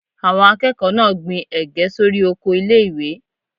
Àwọn akẹ́kọ̀ọ́ náà gbin Ẹ̀gẹ́ sórí oko ilé ìwé.